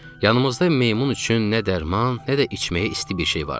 Yanımızda meymun üçün nə dərman, nə də içməyə isti bir şey vardı.